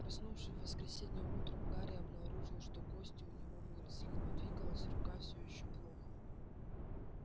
проснувшись в воскресенье утром гарри обнаружил что кости у него выросли но двигалась рука все ещё плохо